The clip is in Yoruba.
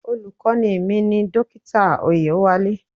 Olùkọ́ni mi ni Dókítà Oyewale.